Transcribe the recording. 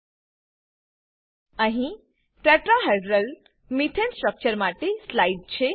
અહી ટેટ્રાહેડ્રલ મેથાને tetrahedral methane structure માટે સ્લાઈડ છે